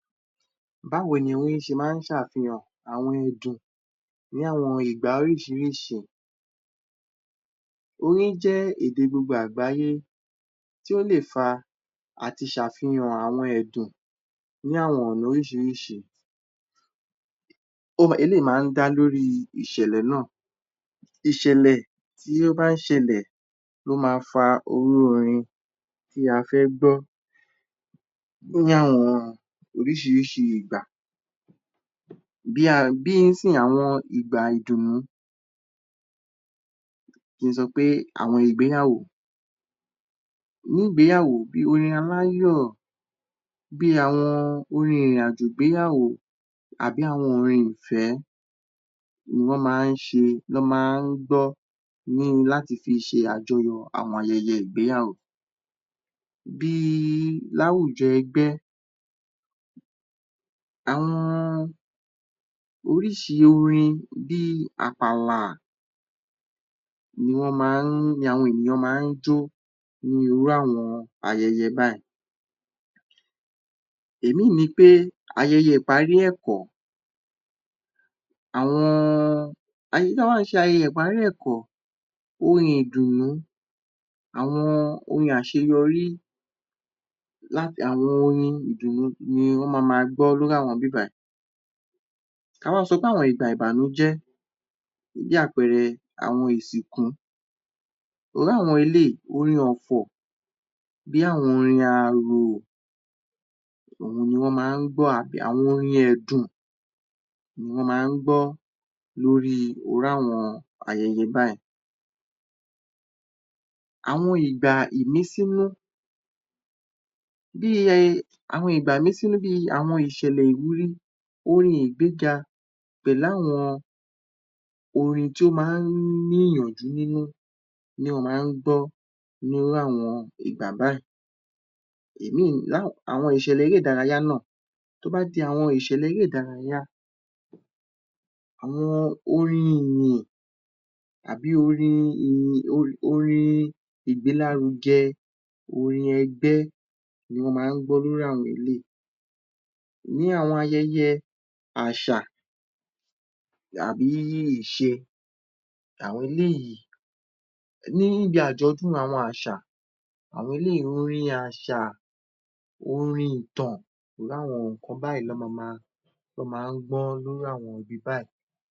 Báwo ni orin ṣe máa ń ṣe àfihàn àwọn ẹ̀dùn, ní àwọn ìgbà oríṣìíríṣìí? Orin jẹ́ èdè gbogbo àgbáyé tí ó lè fa àti ṣe àfihàn àwọn ẹ̀dùn ní àwọn ọ̀nà oríṣìíríṣìí, eléyìí máa ń dá lórí ìṣẹ̀lẹ̀ náà, ìṣẹ̀lẹ̀ tí ó ń bá ṣẹlẹ̀ ló máa fa irú orin tí a fẹ́ gbọ́ ní àwọn oríṣìíríṣìí ìgbà, bí ìsinyìí, àwọn ìgbà ìdùnnú, kí n sọ pé àwọn ìgbéyàwó, ní ìgbéyàwó, orin aláyọ̀ bí àwọn orin ìrìnàjò ìgbéyàwó àbí àwọn orin ìfẹ́ ni wọ́n máa ń ṣe, wọ́n máa ń gbọ́ ni láti fi ṣe àjọyọ̀ àwọn ayẹyẹ ìgbéyàwó. Bí i láwùjọ ẹgbẹ́, àwọn oríṣìí orin bí i àpàlà ni wọ́n máa ń, ni àwọn ènìyàn máa ń jó ní irú àwọn ayẹyẹ báyìí. Òmíràn ni ayẹyẹ ìparí ẹ̀kọ́, àwọn, tọ́ ń bá ṣe ayẹyẹ ìparí ẹ̀kọ́, orin ìdùnnú, àwọn orin àṣeyọrí, àwọn orin ìdùnnú ni wọ́n ma máa gbọ́ ní àwọn ibí bàyìí. Ta bá sọ pé àwọn ìgbà ìbànújẹ́, fún bí àpẹẹrẹ àwọn ìsìnkú, irú àwọn eléyìí, orin ọ̀fọ̀ bí àwọn orin arò, òhun ni wọ́n máa ń gbọ́, orin èdùn ni wọ́n máa ń gbọ́ lórí irú àwọn ayẹyẹ báyìí. Àwọn ìgbà ìmísínú, bí i, ìgbà ìmísínú bí i àwọn ìṣẹ̀lẹ̀ ìwúrí, orin ìgbéga pẹ̀lú àwọn orin tí ó máa ń ní ìyànjú nínú ni wọ́n máa ń gbọ́ nínú àwọn ìgbà báyìí, Àwọn ìṣẹ̀lẹ̀ eré-ìdárayá náà, tó bá di àwọn ìṣẹ̀lẹ̀ eré-ìdárayá, àwọn orin ìyìn àbí orin ìgbélárugẹ, orin ẹgbẹ́ ni wọ́n máa ń gbọ́ ní irú àwọn eléyìí. Ní àwọn ayẹyẹ àṣà àbi ìṣe, àwọn eléyìí, níbi àjọ̀dún awọn àṣà, àwọn eléyìí orin àṣà, orin ìtàn, irú awọn ǹnkan báyìí ni wọ́n máa ń gbọ́ ní àwọn ibi báyìí.